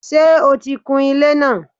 Sé o ti kun ilé náà